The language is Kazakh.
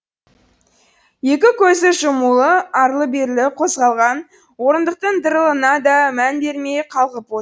екі көзі жұмулы арлы берлі қозғалған орындықтың дырылына да мән бермей қалғып от